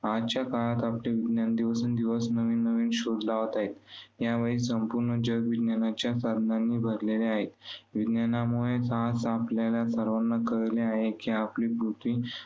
आजच्या काळात आपले विज्ञान दिवसेंदिवस नवीननवीन शोध लावत आहे. या वेळी संपूर्ण जग विज्ञानाच्या भरलेले आहे. विज्ञामुळेच आपल्याला सर्वांना कळले आहे की आपली पृथ्वी